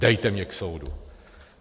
Dejte mě k soudu!